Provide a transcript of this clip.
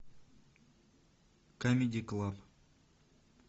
камеди клаб